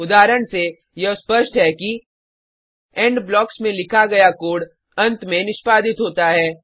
उदाहरण से यह स्पष्ट है कि इंड ब्लॉक्स में लिखा गया कोड अंत में निष्पादित होता है